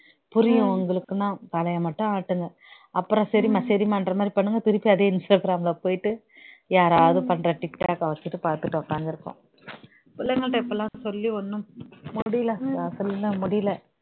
புரியும் உங்களுக்குன்னா தலையை மட்டும் ஆட்டுங்க அப்புறம் சரிம்மா சரிம்மான்ற மாதிரி பண்ணுங்க திருப்பி அதே இன்ஸ்டாகிராம்ல போயிட்டு யாராவது பண்ற டிக்டாக்க வச்சிட்டு பார்த்துட்டு உட்கார்ந்து இருக்கும் பிள்ளைங்கள்ட்ட இப்பலாம் சொல்லி ஒன்றும் முடியலை சுதா சொல்ல முடியலை